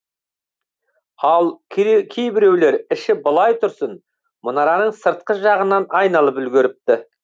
ал кейбіреулер іші былай тұрсын мұнараның сыртқы жағынан айналып үлгеріпті